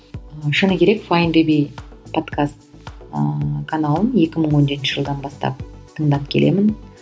шыны керек файндюби подкаст ыыы каналын екі мың он жетінші жылдан бастап тыңдап келемін